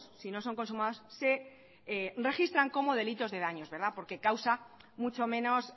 si no son consumados se registran como delitos de daños porque